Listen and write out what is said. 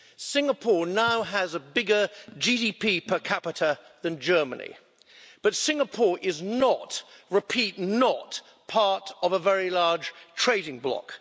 Singapore now has a bigger GDP per capita than Germany, but Singapore is not repeat, not part of a very large trading bloc.